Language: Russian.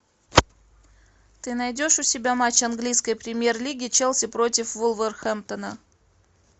ты найдешь у себя матч английской премьер лиги челси против вулверхэмптона